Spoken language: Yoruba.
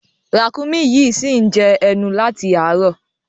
Ràkúnmí yìí ṣì ń jẹ ẹnu láti àárọ̀.